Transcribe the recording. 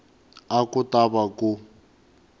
a ku ta va ku